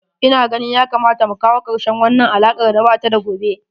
Ina ganin ya kamata mu kawo karshen wannan alakar da ba ta da gobe.